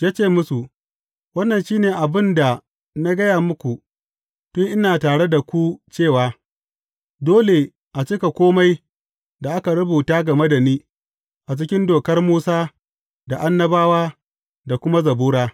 Ya ce musu, Wannan shi ne abin da na gaya muku tun ina tare da ku cewa, dole a cika kome da aka rubuta game da ni, a cikin Dokar Musa, da Annabawa, da kuma Zabura.